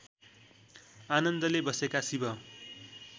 आनन्दले बसेका शिव